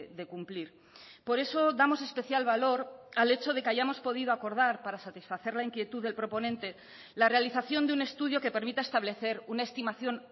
de cumplir por eso damos especial valor al hecho de que hayamos podido acordar para satisfacer la inquietud del proponente la realización de un estudio que permita establecer una estimación